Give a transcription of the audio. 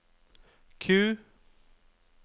Q